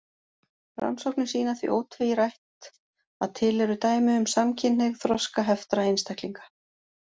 Rannsóknir sýna því ótvírætt að til eru dæmi um samkynhneigð þroskaheftra einstaklinga.